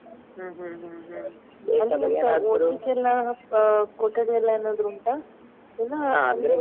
ಹ್ಮ್ ಹ್ಮ್ ಹ್ಮ್ ಹ್ಮ್ ಓದ್ಲಿಕ್ಕೆಲ್ಲ ಅ ಕೊಠಡಿ ಎಲ್ಲ ಏನಾದ್ರು ಉಂಟಾ ಇಲ್ಲಾ .